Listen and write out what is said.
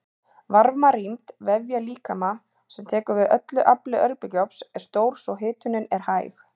Varmarýmd vefja mannslíkama sem tekur við öllu afli örbylgjuofns er stór svo hitunin er hæg.